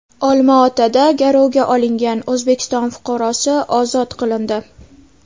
Olmaotada garovga olingan O‘zbekiston fuqarosi ozod qilindi.